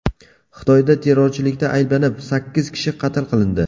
Xitoyda terrorchilikda ayblanib, sakkiz kishi qatl qilindi.